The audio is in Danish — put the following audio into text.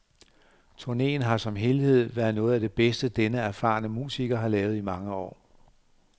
Turneen har som helhed været noget af det bedste denne erfarne musiker har lavet i mange år.